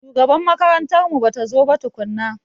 Shugaban makarantar mu batazo ba tukunna.